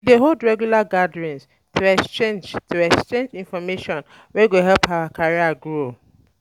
We dey hold regular gatherings to exchange to exchange information wey go help our careers grow.